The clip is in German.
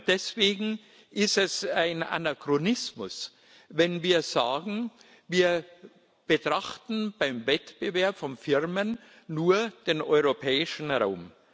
Deswegen ist es ein Anachronismus, wenn wir sagen Wir betrachten beim Wettbewerb von Firmen nur den europäischen Raum.